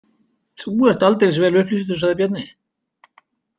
Þú ert aldeilis vel upplýstur, sagði Bjarni.